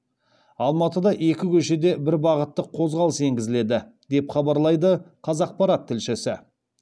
алматыда екі көшеде бір бағыттық қозғалыс енгізіледі деп хабарлайды қазақпарат тілшісі